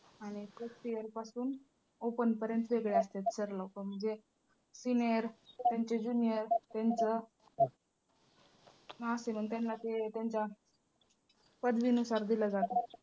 आणि first year पासून open पर्यंत वेगळे असत्यात sir लोकं म्हणजे senior त्यांचे junior त्यांचं असे मग त्यांना ते त्यांच्या पदवीनूसार दिलं जातं.